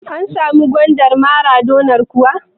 An samu gwandar maradonar kuwa?